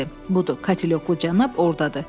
Budur, katelyoklu cənab ordadır.